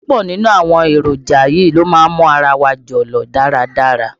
Púpọ̀ nínú àwọn èròjà yìí ló má ń mú ara wa jọ̀lọ̀ dáradára.